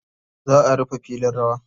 Za a rufe filin rawa.